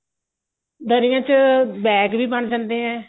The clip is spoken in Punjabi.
ਦਰੀਆਂ ਚ bag ਵੀ ਬਣ ਜਾਂਦੇ ਏ